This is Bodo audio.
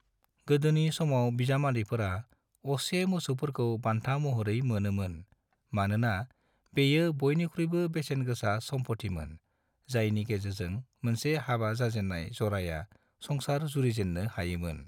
गोदोनि समाव बिजामादैफोरा असे मोसौफोरखौ बान्था महरै मोनोमोन, मानोना बेयो बयनिख्रुयबो बेसेन गोसा समफथिमोन जायनि गेजेरजों मोनसे हाबा जाजेन्राय जराया संसार जुरिजेन्नो हायोमोन।